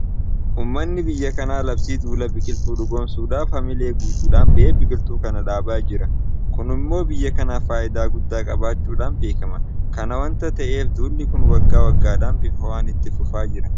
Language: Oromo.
Uummanni biyya kanaa labsii duula biqiltuu dhugoomsuudhaaf haamilee guutuudhaan ba'ee biqiltuu kana dhaabaa jira. Kun immoo biyya kanaaf faayidaa guddaa qabaachuudhaan beekama. Kana waanta ta'eef duulli kun waggaa waggaadhaan bifa ho'aan itti fufaa jira.